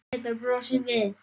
Pétur brosir við.